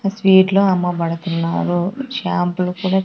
ఆ స్వీట్లో అమ్మ బడుతున్నారు షాంపులు కూడా.